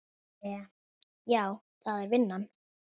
Hve. já, það er vinnan.